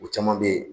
U caman bɛ yen